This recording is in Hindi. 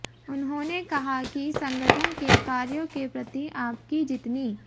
उन्होंने कहा कि संगठन के कार्यो के प्रति आपकी जितनी